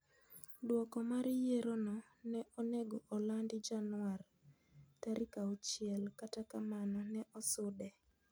Duoko mar yierono ne onego olandi Januar tarik auchiel kata kamano ne osude.